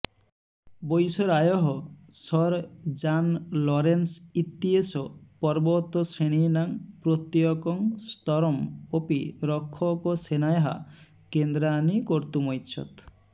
वैसरायः sir John Lawrence इत्येषः पर्वतश्रेणीनां प्रत्यकं स्तरम् अपि रक्षकसेनायाः केन्द्राणि कर्तुमैच्छत्